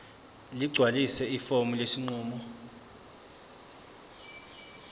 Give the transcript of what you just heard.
ligcwalise ifomu lesinqumo